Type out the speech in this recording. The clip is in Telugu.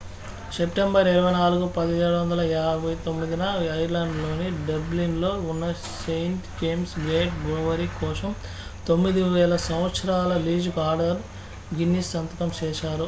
సెప్టెంబరు 24 1759 న ఐర్లాండ్ లోని డబ్లిన్ లో ఉన్న సెయింట్ జేమ్స్ గేట్ బ్రూవరీ కోసం 9,000 సంవత్సరాల లీజుకు ఆర్థర్ గిన్నిస్ సంతకం చేశారు